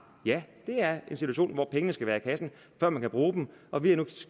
ja det er en situation hvor pengene skal være i kassen før man kan bruge dem og vi har nu